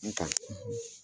N ta,